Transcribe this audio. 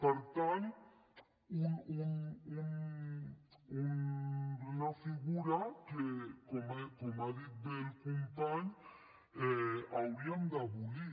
per tant una figura que com ha dit bé el company hauríem d’abolir